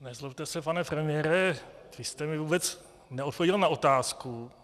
Nezlobte se, pane premiére, vy jste mi vůbec neodpověděl na otázku.